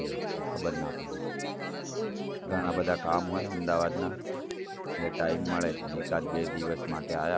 સાચી વાત છે ખબર ના પડે હમ ઘણા બધા કામ હોય અમદાવાદના એટલે time મળે જ નઈ એકાદ બે દિવસ માટે આયા